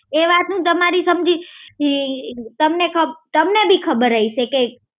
એ વાત નું તમારી સમજી તમને ખબ તમને બી ખબર હશે કે